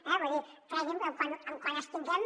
vull dir cregui’m que quan els tinguem